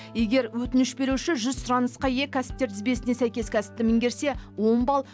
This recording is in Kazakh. егер өтініш беруші жүз сұранысқа ие кәсіптер тізбесіне сәйкес кәсіпті меңгерсе он балл